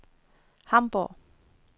Hamborg